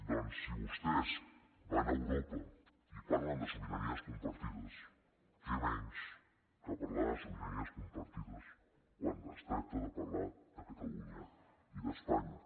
doncs si vostès van a europa i parlen de sobiranies compartides què menys que parlar de sobiranies compartides quan es tracta de parlar de catalunya i d’espanya